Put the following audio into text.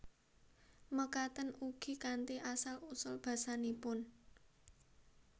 Mekaten ugi kanthi asal usul basanipun